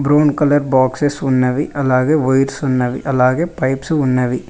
Brown colour boxes ఉన్నవి అలాగే wires ఉన్నవి అలాగే పైప్స్ ఉన్నవి.